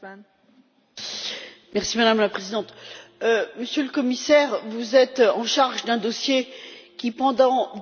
Madame la Présidente, Monsieur le Commissaire, vous êtes chargé d'un dossier qui, pendant des années, n'a pas bougé.